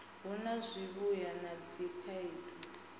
hu na zwivhuya na dzikhaedu